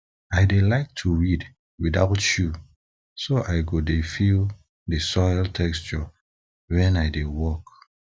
i dey like to weed like to weed without shoe so i go dey feel the soil texture wen i dey work